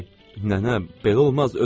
Nənə, belə olmaz, özünüzə gəlin.